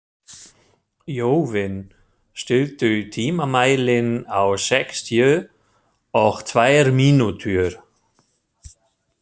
Jóvin, stilltu tímamælinn á sextíu og tvær mínútur.